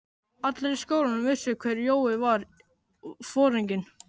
Allir í skólanum vissu hver Jói var, foringinn.